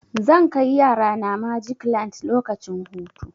Zan kai yarana magic land lokacin hutu.